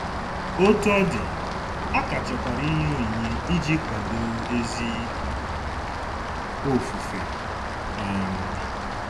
Otú ọ dị, a ka chọkwara inye onyinye iji kwado ezi ofufe. um